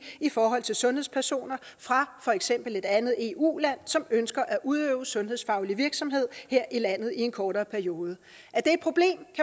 i forhold til sundhedspersoner fra for eksempel et andet eu land som ønsker at udøve sundhedsfaglig virksomhed her i landet i en kortere periode